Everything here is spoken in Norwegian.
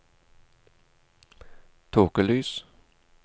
tåkelys